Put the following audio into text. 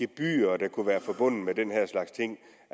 gebyrer der kunne være forbundet med den her slags ting